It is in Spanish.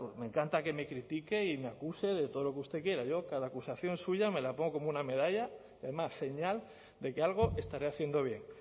me encanta que me critique y me acuse de todo lo que usted quiera yo cada acusación suya me la pongo como una medalla y además señal de que algo estaré haciendo bien